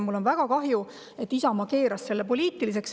Mul on väga kahju, et Isamaa keeras selle poliitiliseks.